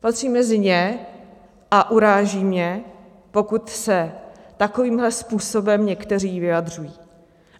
Patřím mezi ně a uráží mě, pokud se takovýmto způsobem někteří vyjadřují.